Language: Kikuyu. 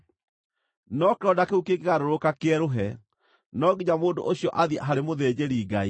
No kĩronda kĩu kĩngĩgarũrũka kĩerũhe, no nginya mũndũ ũcio athiĩ harĩ mũthĩnjĩri-Ngai.